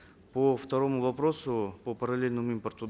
по второму вопросу по параллельному импорту